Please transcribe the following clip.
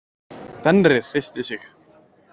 Fenrir hristi sig.